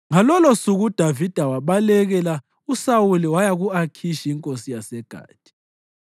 Ngalolosuku uDavida wabalekela uSawuli waya ku-Akhishi inkosi yaseGathi.